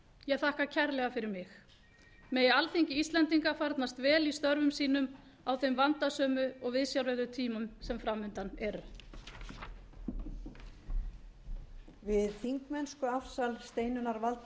ég þakka kærlega fyrir mig megi alþingi íslendinga farnast vel í störfum sínum á þeim vandasömu og viðsjárverðu tímum sem fram undan eru